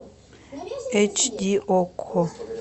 эйч ди окко